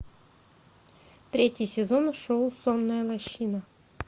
третий сезон шоу сонная лощина